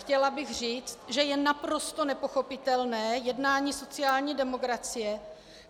Chtěla bych říct, že je naprosto nepochopitelné jednání sociální demokracie,